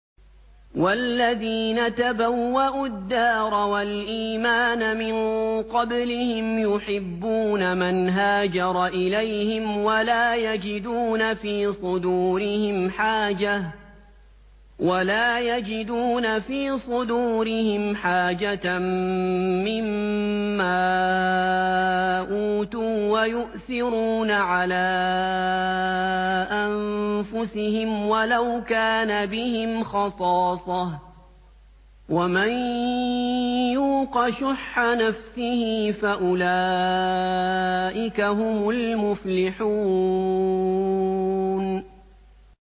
وَالَّذِينَ تَبَوَّءُوا الدَّارَ وَالْإِيمَانَ مِن قَبْلِهِمْ يُحِبُّونَ مَنْ هَاجَرَ إِلَيْهِمْ وَلَا يَجِدُونَ فِي صُدُورِهِمْ حَاجَةً مِّمَّا أُوتُوا وَيُؤْثِرُونَ عَلَىٰ أَنفُسِهِمْ وَلَوْ كَانَ بِهِمْ خَصَاصَةٌ ۚ وَمَن يُوقَ شُحَّ نَفْسِهِ فَأُولَٰئِكَ هُمُ الْمُفْلِحُونَ